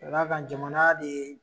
Ka d'a kan jamana de ye